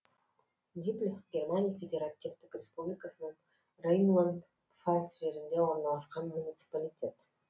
диблих германия федеративтік республикасының рейнланд пфальц жерінде орналасқан муниципалитет